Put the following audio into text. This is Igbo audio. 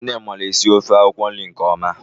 Nne m mara esi ofe akwụkwọ nri ne ọma.